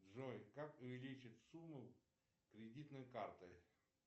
джой как увеличить сумму кредитной карты